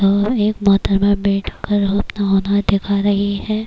ایک موہترما بیٹھ کر اپنا ہنردکھا رہی ہے